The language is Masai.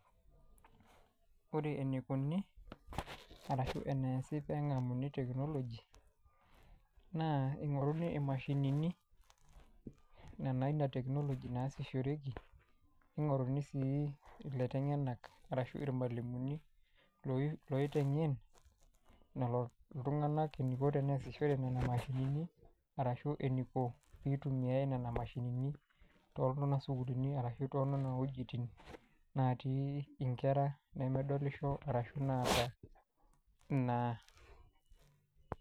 Ore enikoni ashu eneesi pee engamuni teknoloji, naa kingoruni mashinini nena naa ina teknoloji naasishoreki ,ningoruni sii laitengenak ashu irmalimuni loitengen iltunganak eniko tenesishore nena mashinini arashu eniko pee eitumiyia nena mashinini too nena sukuulini ashu toonena wejitin natii nkera nemedolisho ashu naata ina.